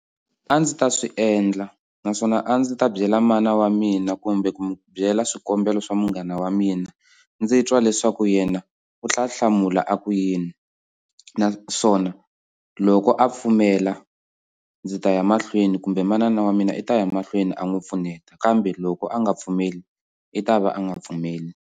A ndzi ta swi endla naswona a ndzi ta byela mana wa mina kumbe ku mu byela swikombelo swa munghana wa mina ndzi twa leswaku yena u ta hlamula a ku yini naswona loko a pfumela ndzi ta ya mahlweni kumbe manana wa mina i ta ya mahlweni a n'wi pfuneta kambe loko a nga pfumeli i ta va a nga pfumeli.